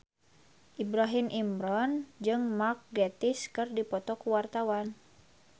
Ibrahim Imran jeung Mark Gatiss keur dipoto ku wartawan